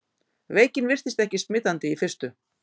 Veikin virtist ekki smitandi í fyrstu.